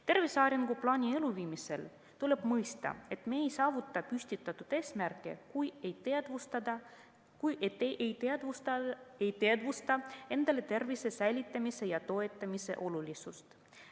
Tervise arenguplaani elluviimisel tuleb mõista, et me ei saavuta eesmärke, kui ei teadvusta endale tervise säilitamise ja toetamise olulisust.